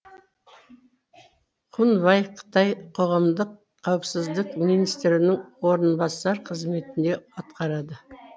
хунвай қытай қоғамдық қауіпсіздік министрінің орынбасары қызметіне атқарады